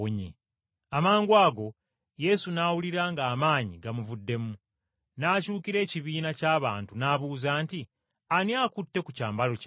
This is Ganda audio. Amangwago Yesu n’awulira ng’amaanyi agamuvuddemu, n’akyukira ekibiina ky’abantu n’abuuza nti, “Ani akutte ku kyambalo kyange?”